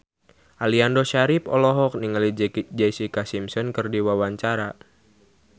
Aliando Syarif olohok ningali Jessica Simpson keur diwawancara